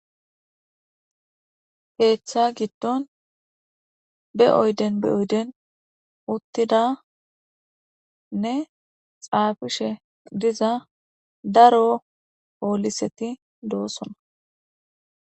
Ketha gidon be oyiden oyiden uthidanne xafishe diza daro poliseti de,osona